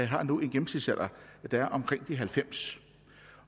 har nu en gennemsnitsalder der er omkring de halvfems